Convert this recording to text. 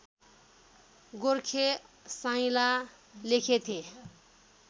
गोर्खे साइँला लेखेथेँ